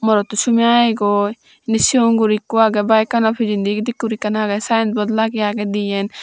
morotto sumi ageygoi indi sigon guri ekko agey bikeno pichendi idekkey guri ekkan agey sinebot lagey agey diyen.